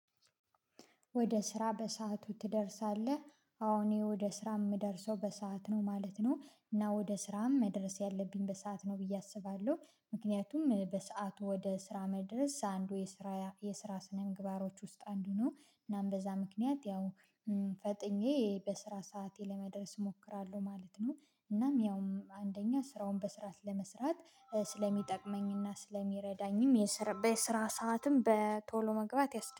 ወደ ስራ በሰአቱ ትደርሳለህ? አዎ እኔ ወደ ስራ የምደርሰው በሰአት ነው ማለት ነው። እና ወደ ስራም መድረስ ያለብኝ በሰአት ነው ብዬ አስባለሁ። ምክንያቱም በሰአቱ ወደ ስራ መድረስ አንዱ የስራ የስራ ስነምግባሮች ውስጥ አንዱ ነው። እናም በዛ ምክንያት ያው ፈጥኜ በስራ ሰዓቴ ለመድረስ እሞክራለሁ ማለት ነው። እናም ያው አንደኛ ስራውን በስራ ለመስራት ስለሚጠቅመኝና ስለሚረዳኝም የስራ በስራ ሰዓትም በቶሎ መግባት ያስደስታል